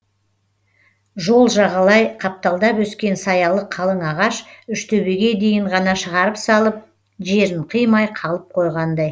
жол жағалай қапталдап өскен саялы қалың ағаш үштөбеге дейін ғана шығарып салып жерін қимай қалып қойғандай